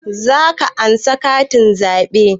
Za ka ansa katin zaɓe?